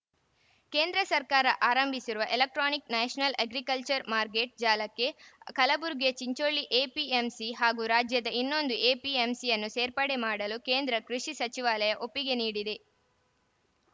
ಕೇಂದ್ರ ಸರ್ಕಾರ ಆರಂಭಿಸಿರುವ ಎಲೆಕ್ಟ್ರಾನಿಕ್‌ ನ್ಯಾಷನಲ್‌ ಅಗ್ರಿಕಲ್ಚರ್‌ ಮಾರ್ಕೆಟ್‌ ಜಾಲಕ್ಕೆ ಕಲಬುರಗಿಯ ಚಿಂಚೋಳಿ ಎಪಿಎಂಸಿ ಹಾಗೂ ರಾಜ್ಯದ ಇನ್ನೊಂದು ಎಪಿಎಂಸಿಯನ್ನು ಸೇರ್ಪಡೆ ಮಾಡಲು ಕೇಂದ್ರ ಕೃಷಿ ಸಚಿವಾಲಯ ಒಪ್ಪಿಗೆ ನೀಡಿದೆ